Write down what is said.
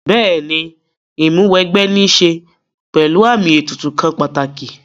Bẹ́ẹ̀ni Ìmúw'ẹgbẹ́ ní ṣe pẹ̀lú àmì ètùtù kan pàtàkì